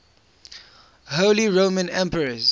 holy roman emperors